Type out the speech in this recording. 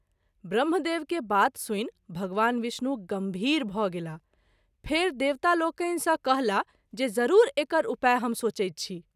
ब्रम्ह देव के बात सुनि भगवान विष्णु गंभीर भ’ गेलाह, फेरि देवता लोकनि सँ कहला जे जरूर एकर उपाय हम सोचैत छी।